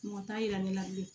Mɔgɔ t'a yira ne la bilen